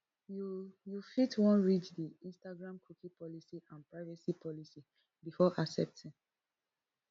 you you fit wan read di instagram cookie policy and privacy policy before accepting